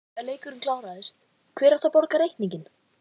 Þegar leikurinn kláraðist, hver átti að borga reikninginn?